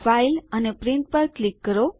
file અને print પર click કરો